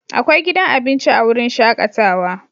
Akwai gidan abinci a wurin shakatawa